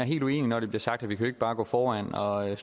helt uenig når det bliver sagt at vi ikke bare kan gå foran og